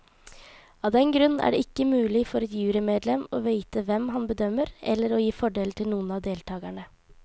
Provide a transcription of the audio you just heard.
Av den grunn er det ikke mulig for et jurymedlem å vite hvem han bedømmer eller å gi fordeler til noen av deltagerne.